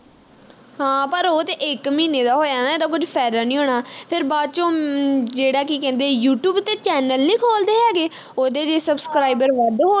ਹਾ ਪਰ ਉਹ ਤੇ ਇਕ ਮਹੀਨੇ ਦਾ ਹੋਇਆ ਨਾ ਇਹਦਾ ਕੁਝ ਫਾਇਦਾ ਨਹੀਂ ਹੋਣਾ ਫਿਰ ਬਾਅਦ ਵਿਚ ਜਿਹੜਾ ਕੀ ਕਹਿੰਦੇ Youtube ਤੇ channel ਨੀ ਖੋਲਦੇ ਹੈਗੇ ਉਹਦੇ ਜੇ subscriber ਵੱਧ ਹੋ